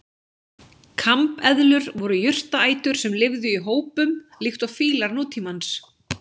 Kambeðlur voru jurtaætur sem lifðu í hópum líkt og fílar nútímans.